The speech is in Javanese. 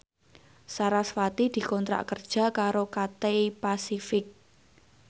sarasvati dikontrak kerja karo Cathay Pacific